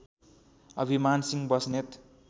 अभिमान सिंह बस्नेत